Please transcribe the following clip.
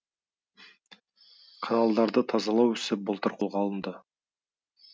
каналдарды тазалау ісі былтыр қолға алынды